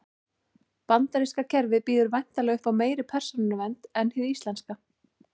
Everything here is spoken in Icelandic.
Bandaríska kerfið býður væntanlega upp á meiri persónuvernd en hið íslenska.